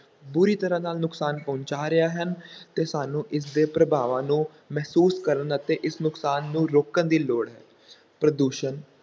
ਬੁਰੀ ਤਰ੍ਹਾਂ ਨਾਲ ਨੁਕਸਾਨ ਪਹੁੰਚਾ ਰਿਹਾ ਹਨ ਅਤੇ ਸਾਨੂੰ ਇਸ ਦੇ ਪ੍ਰਭਾਵਾਂ ਨੂੰ ਮਹਿਸੂਸ ਕਰਨ ਅਤੇ ਇਸ ਨੁਕਸਾਨ ਨੂੰ ਰੋਕਣ ਦੀ ਲੋੜ ਹੈ, ਪ੍ਰਦੂਸ਼ਣ